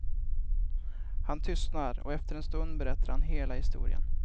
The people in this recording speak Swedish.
Han tystnar och efter en stund berättar han hela historien.